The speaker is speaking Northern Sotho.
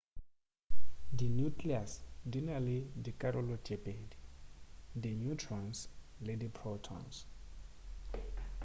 di nucleus di na le dikarolo tše pedi di neutrons le di protons